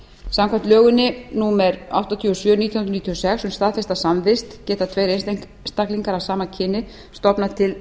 samkvæmt lögum númer áttatíu og sjö nítján hundruð níutíu og sex um staðfesta samvist geta tveir einstaklinga af sama kyni stofnað til